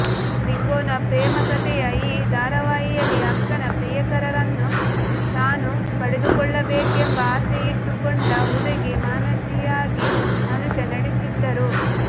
ತ್ರಿಕೋನ ಪ್ರೇಮಕತೆಯ ಈ ಧಾರಾವಾಹಿಯಲ್ಲಿ ಅಕ್ಕನ ಪ್ರಿಯಕರನನ್ನು ತಾನು ಪಡೆದುಕೊಳ್ಳಬೇಕೆಂಬ ಆಸೆಯಿಟ್ಟುಕೊಂಡ ಹುಡುಗಿ ಮಾನಸಿಯಾಗಿ ಅನುಷಾ ನಟಿಸಿದ್ದರು